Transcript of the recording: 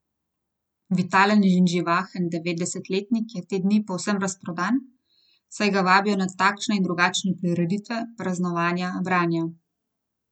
Vitalen in živahen devetdesetletnik je te dni povsem razprodan, saj ga vabijo na takšne in drugačne prireditve, praznovanja, branja.